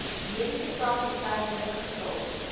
mediese praktisyn ingevul